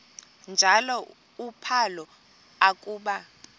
njalo uphalo akuba